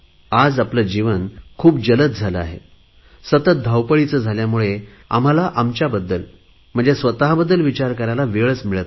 आज जीवन खूप वेगवान झाले आहे सतत धावपळीचे झाल्यामुळे आम्हाला आमच्या बद्दल स्वतबद्दल विचार करायला वेळच मिळत नाही